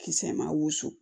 Kisɛ ma wusu